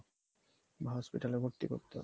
hospital এ ভর্তি করতে হবে